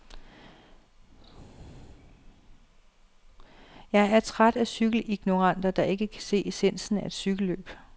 Jeg er træt af cykelignoranter, der ikke kan se essensen af et cykelløb.